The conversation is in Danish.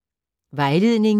Vejledning: